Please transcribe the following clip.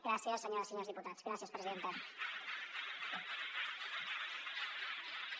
gràcies senyores i senyors diputats gràcies presidenta